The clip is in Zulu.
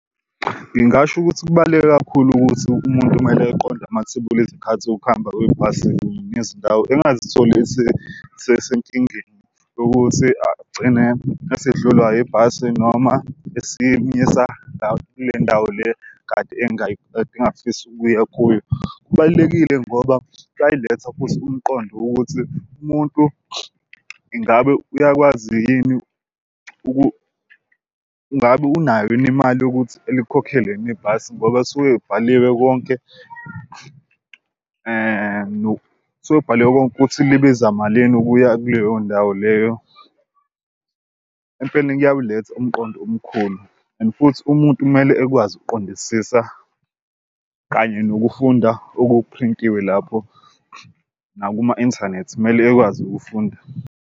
Ngingasho ukuthi kubaluleke kakhulu ukuthi umuntu kumele eqonde amathebuli ezikhathi zokuhamba kwebhasi nezindawo engingazitholi esesenkingeni ukuthi agcine esehlolwa ibhasi noma kule ndawo le kade engafisi ukuya kuyo. Kubalulekile ngoba futhi umqondo ukuthi umuntu ingabe uyakwazi yini ngabe unayo yini imali yokuthi elikhokhelwe yini ibhasi ngoba suke ibhaliwe konke suke bhalwe konke ukuthi libiza malini ukuya kuleyo ndawo leyo. Empeleni kuyawuletha umqondo omkhulu and futhi umuntu kumele ekwazi ukuqondisisa kanye nokufunda okuphrintiwe lapho, nakuma inthanethi kumele ekwazi ukufunda.